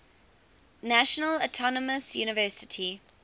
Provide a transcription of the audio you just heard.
national autonomous university